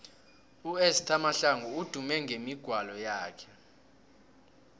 uesther mahlangu udume ngemigwalo yakhe